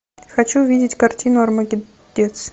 хочу увидеть картину армагеддец